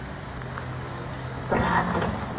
братан